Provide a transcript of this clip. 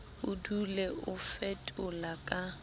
o dule o fetola ka